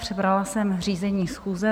Přebrala jsem řízení schůze.